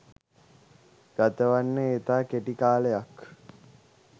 ගතවන්නේ ඉතා කෙටි කාලයක්